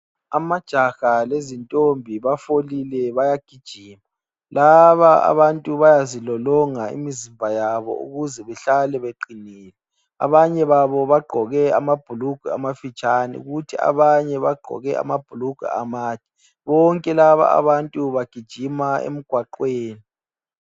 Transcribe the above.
Amajaha lezi ntombi bafolile bayagijima laba abantu bayazilolonga imizimba yabo ukuze behlale beqinile. Abanye babo bagqoke amabhulugwe amafitshane kuthi abanye bagqoke amabhulugwe amade bonke laba abantu bagijima emgwaqweni.